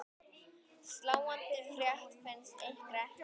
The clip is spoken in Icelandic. Sláandi frétt finnst ykkur ekki?